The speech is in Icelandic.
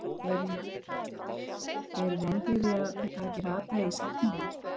Elín Margrét Böðvarsdóttir: Eru vonbrigði að þetta hafi ekki ratað í sáttmálann?